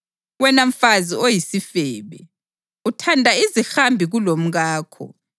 Wena mfazi oyisifebe! Uthanda izihambi kulomkakho.